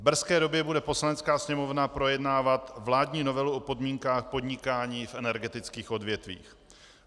V brzké době bude Poslanecká sněmovna projednávat vládní novelu o podmínkách podnikání v energetických odvětvích.